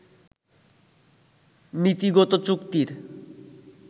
নীতিগত চুক্তির